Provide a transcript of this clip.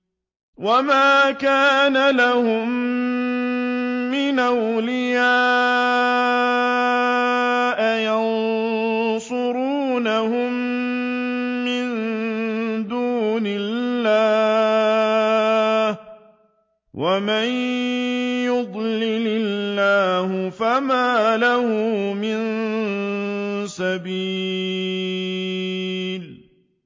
وَمَا كَانَ لَهُم مِّنْ أَوْلِيَاءَ يَنصُرُونَهُم مِّن دُونِ اللَّهِ ۗ وَمَن يُضْلِلِ اللَّهُ فَمَا لَهُ مِن سَبِيلٍ